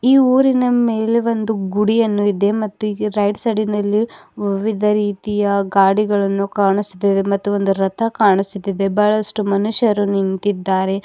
ಈ ಊರಿನ ಮೇಲೆ ಒಂದು ಗುಡಿಯನ್ನು ಇದೆ ಮತ್ತು ರೈಟ್ ಸೈಡಿನಲ್ಲಿ ವಿಧ ರೀತಿಯ ಗಾಡಿಗಳನ್ನು ಕಾಣಿಸುತ್ತದೆ ಮತ್ತು ಒಂದು ರಥ ಕಾಣಿಸುತ್ತಿದೆ ಬಹಳಷ್ಟು ಮನುಷ್ಯರು ನಿಂತಿದ್ದಾರೆ.